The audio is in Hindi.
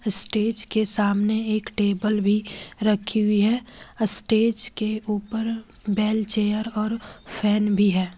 स्टेज के सामने एक टेबल भी रखी हुई है स्टेज के ऊपर बेल चेयर और फैन भी है।